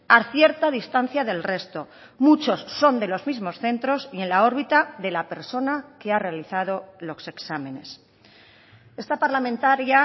a cierta distancia del resto muchos son de los mismos centros y en la órbita de la persona que ha realizado los exámenes esta parlamentaria